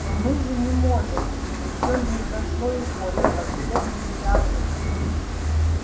но мы же не можем ещё не прошло и года как бедный чарли